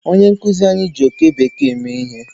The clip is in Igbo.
Onye nkuzi anyi ji oke bekee mee ihe